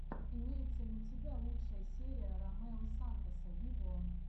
имеется ли у тебя лучшая серия ромео сантоса виво